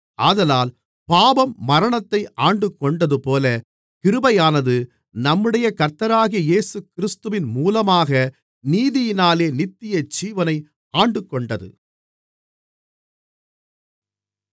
ஆதலால் பாவம் மரணத்தை ஆண்டுகொண்டதுபோல கிருபையானது நம்முடைய கர்த்தராகிய இயேசுகிறிஸ்துவின் மூலமாக நீதியினாலே நித்தியஜீவனை ஆண்டுகொண்டது